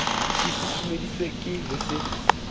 e susumeditswe ke ho se